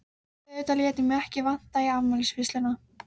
Auðvitað lét ég mig ekki vanta í afmælisveisluna.